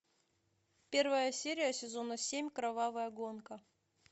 первая серия сезона семь кровавая гонка